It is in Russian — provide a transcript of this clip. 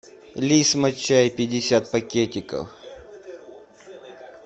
лисма чай пятьдесят пакетиков